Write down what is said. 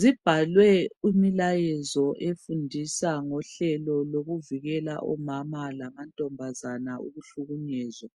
zibhalwe umlayezo efundisa ngohlelo lokuvikela omama lamantombazana ukuhlukunyezwa